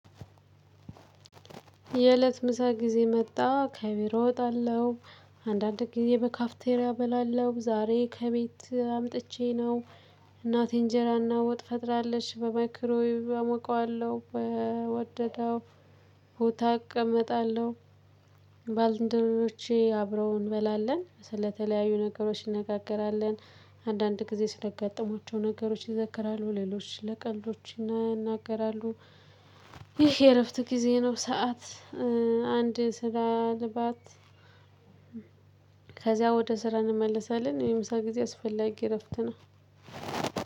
የእለት ምሳ ጊዜ መጣ ከቢሮ እወጣለሁ አንዳንድ ጊዜ በካፍቴሪያ በላለው ዛሬ ከቤት አምጥቼ ነው። እናቴ እንጀራና ወጥ ፈጥራለች በማይክሮ ዌቭ አሞቃለሁ በወደደው ቦታ አቀመጣለሁ። ባልንደሮቼ አብረው እንበላለን ስለተለያዩ ነገሮች ይነጋገራሉ። አንዳንድ ጊዜ ስለአጋጠሟቸው ነገሮች ይዘክራሉ ሌሎች ስለቀልዶች ይናገራሉ። ይህ የእረፍት ጊዜ ነው። ሰዓት አንድ ስላልባት። ከዚያ ወደ ስራ እንመልሳለን። የምሳ ጊዜ አስፈላጊ እረፍት ነው።